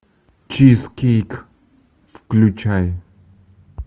чизкейк включай